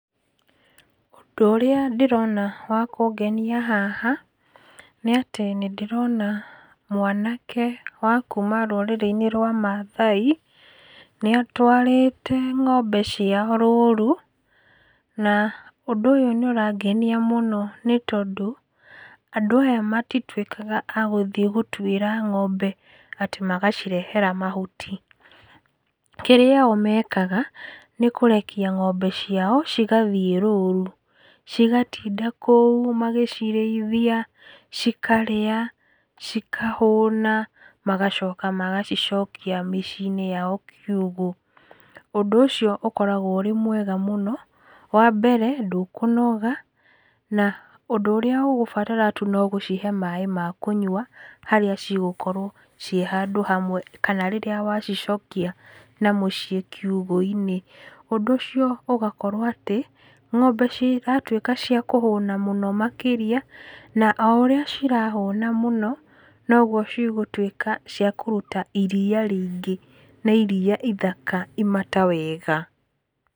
Ũndũ ũrĩa ndĩrona wa kũngenia haha, nĩ atĩ nĩ ndĩrona mwanake wa kuma rũrĩrĩ-inĩ rwa mathai, nĩ atwarĩte ng'ombe ciao rũru na ũndũ ũyũ nĩ ũrangenia mũno, nĩ tondũ andũ aya matituĩkaga a gũthiĩ gũtwĩra ng'ombe atĩ magacirehera mahuti. Kĩrĩa o mekaga, nĩ kũrekia ng'ombe cia cigathiĩ rũru, cigatinda kũu magĩcirĩthia, cikarĩa, cikahũna, magacoka magacicokia mĩciĩ-inĩ yao kiugũ. Ũndũ ũcio ũkoragwo wĩ mwega mũno, wa mbere, ndũkũnoga na ũndũ ũrĩa ũgũbatara tu no gũcihe maĩ ma kũnyua harĩa ci gũkorwo ciĩ handũ hamwe kana rĩrĩa wacicokia na mũciĩ kiugũ-inĩ. Ũndũ ũcio ũgakorwo atĩ, ng'ombe ciratuĩka cia kũhũna mũno makĩria na o ũrĩa cirahũna mũno, no guo cigũuĩka cia kũruta iria rĩingĩ na iria ithaka, imata wega.